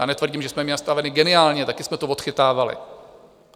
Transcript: Já netvrdím, že jsme to měli natavené geniálně, také jsme to odchytávali.